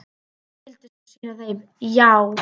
Hann skyldi sko sýna þeim- já!